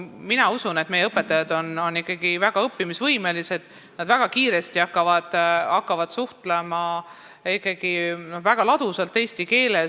Mina usun, et meie õpetajad on väga õppimisvõimelised: nad hakkavad ikkagi väga kiiresti suhtlema väga ladusas eesti keeles.